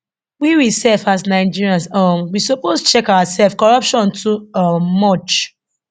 we we sef as nigerians um we suppose check ourselfs corruption too um much